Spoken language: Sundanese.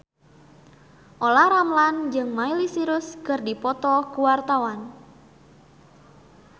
Olla Ramlan jeung Miley Cyrus keur dipoto ku wartawan